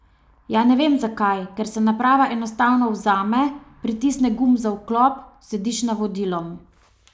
Ja, ne vem zakaj, ker se naprava enostavno vzame, pritisne gumb za vklop, slediš navodilom.